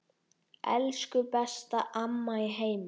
Elsku besta amma í heimi.